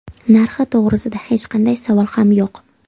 Narxi to‘g‘risida hech qanday savol ham yo‘q.